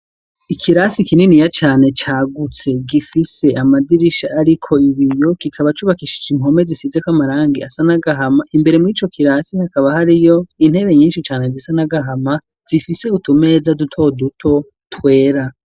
Ikirasi kininiya cane cagutse gifise amadirisha ariko ibiyo kikaba cubakishije impome zisizeko amarangi asa n'agahama imbere mur' ico kirasi hakaba hariyo intebe nyinshi cane zisa n'agahama zifise utumeza duto duto twera.